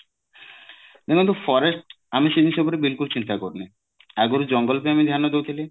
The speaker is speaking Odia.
ମାନେ ଯେମତି forest ଆମେ ସେଇ ବିଷୟ ଉପରେ ବିଲକୁଲ ଚିନ୍ତା କରୁନେ ଆଗୁରୁ ଜଙ୍ଗଲ ପାଇଁ ଆମେ ଧ୍ୟାନ ଦଉଥିଲେ